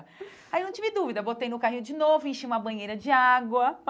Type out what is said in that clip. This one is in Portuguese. Aí eu não tive dúvida, botei no carrinho de novo, enchi uma banheira de água.